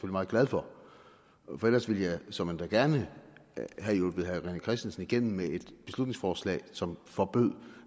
meget glad for for ellers ville jeg såmænd da gerne have hjulpet herre rené christensen igennem med et beslutningsforslag som forbød